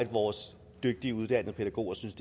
vores dygtige uddannede pædagoger synes